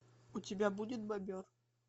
у тебя будет бобер